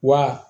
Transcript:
Wa